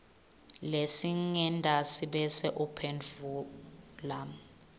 lesingentasi bese uphendvula